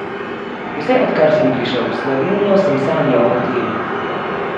Vse odkar sem prišel v Slovenijo, sem sanjal o tem!